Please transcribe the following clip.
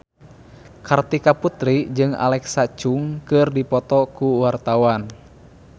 Kartika Putri jeung Alexa Chung keur dipoto ku wartawan